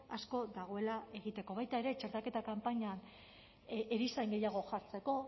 asko dagoela egiteko baita ere txertaketa kanpainan erizain gehiago jartzeko